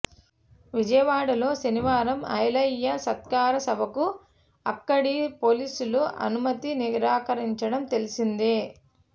విజయవాడలో శనివారం ఐలయ్య సత్కార సభకు అక్కడి పోలీసులు అనుమతి నిరాకరించడం తెలిసిందే